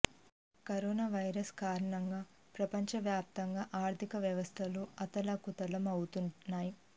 corona virus కారణంగా ప్రపంచ వ్యాప్తంగా ఆర్థిక వ్యవస్థలు అతలాకుతలం అవుతున్నాయి